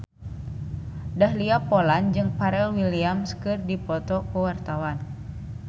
Dahlia Poland jeung Pharrell Williams keur dipoto ku wartawan